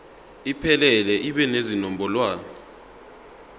iphelele ibe nezinombolwana